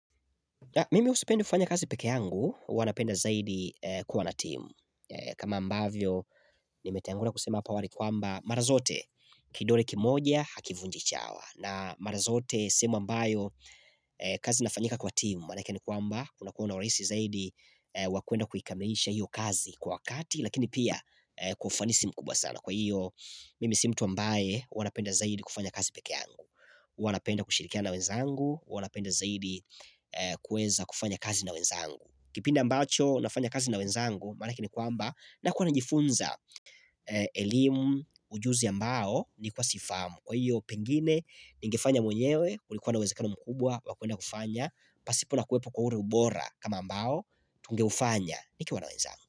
Mimi sipende kufanya kazi peke yangu, huwa napenda zaidi kuwana timu. Kama ambavyo, nimetangulia kusema hapa awali kwamba mara zote, kidole kimoja, hakivunji chawa. Na mara zote sehemu ambayo, kazi inafanyika kwa timu. Maana yake ni kwamba, unakuwa na urahisi zaidi, wakuenda kuikamilisha hiyo kazi kwa wakati lakini pia, kwa ufanisi mkubwa sana. Kwa hiyo, mimi si mtu ambaye, huwa napenda zaidi kufanya kazi peke yangu. Huwa napenda kushirikiana nawenzangu huwa napenda zaidi kuweza kufanya kazi na wenzangu. Kipindi ambacho nafanya kazi na wenzangu maana yake ni kwamba na kuwa najifunza. Elimu ujuzi ambao nilikuwa sifahamu. Kwa hiyo pengine ningefanya mwenyewe kulikuwa unawekano mkubwa wakuenda kufanya pasipona kuwepo kwa ule ubora kama ambao tungeufanya nikiwa nawenzangu.